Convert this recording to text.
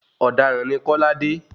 Ọ̀daràn ni Kọ́ládé.